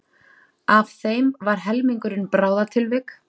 Af þeim var helmingurinn bráðatilvik